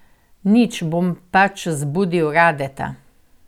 Nič, bom pač zbudil Radeta.